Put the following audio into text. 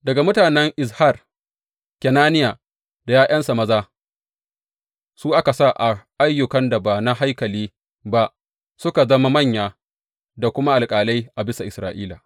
Daga mutanen Izhar, Kenaniya da ’ya’yansa maza su aka sa a ayyukan da ba na haikali ba, su suka zama manya da kuma alƙalai a bisa Isra’ila.